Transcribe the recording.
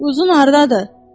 Uzun hardadır?